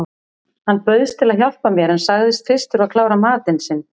Hann bauðst til að hjálpa mér en sagðist fyrst þurfa að klára matinn sinn.